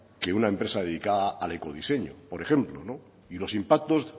que una empresa dedicada al ecodiseño por ejemplo y los impactos